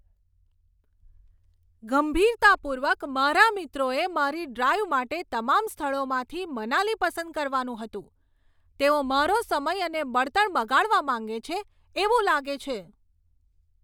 ગંભીરતાપૂર્વક, મારા મિત્રોએ મારી ડ્રાઈવ માટે તમામ સ્થળોમાંથી મનાલી પસંદ કરવાનું હતું? તેઓ મારો સમય અને બળતણ બગાડવા માંગે છે એવું લાગે છે!